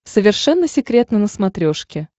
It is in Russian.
совершенно секретно на смотрешке